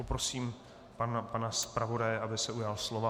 Poprosím pana zpravodaje, aby se ujal slova.